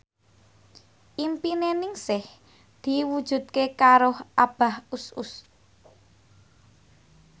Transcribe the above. impine Ningsih diwujudke karo Abah Us Us